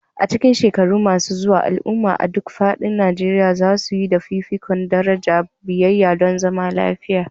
A cikin shekaru masu zuwa, al'ummomi a duk faɗin Najeriya za su ba da fifikon daraja biyayya don zaman lafiya.